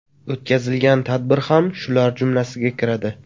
O‘tkazilgan tadbir ham shular jumlasiga kiradi.